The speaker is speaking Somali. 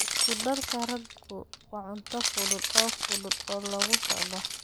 Isku darka raadku waa cunto fudud oo fudud oo lagu socdo.